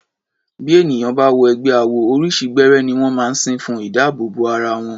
Bí ènìyàn bá wọ ẹgbẹ́ awo, oríṣi gbẹ́rẹ́ ní wọ́n máa ń sín fún ìdábòòbò bo ara wọn.